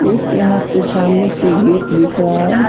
एक यहाँ पे सामने से गेट दिख रहा है ।